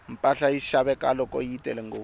mpahla yi xaveka loko yi tele ngopfu